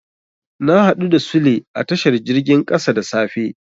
Na haɗu da Sule a tashar jirgin ƙasa da safe.